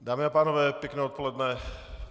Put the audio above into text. Dámy a pánové, pěkné odpoledne.